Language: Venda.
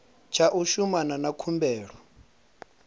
tsha u shumana na khumbelo